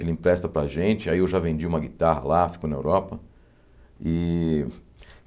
Ele empresta para a gente, aí eu já vendi uma guitarra lá, fico na Europa.